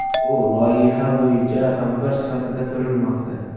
U loyiha bo‘yicha hamkor sifatida ko‘rilmoqda.